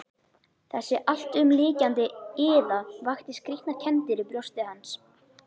Þessi alltumlykjandi iða vakti skrýtnar kenndir í brjósti hans.